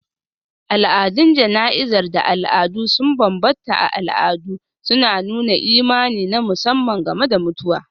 Al'adun jana'izar da al'adu sun bambanta a al'adu, suna nuna imani na musamman game da mutuwa.